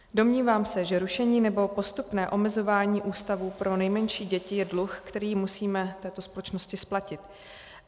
Domnívám se, že rušení nebo postupné omezování ústavů pro nejmenší děti je dluh, který musíme této společnosti splatit.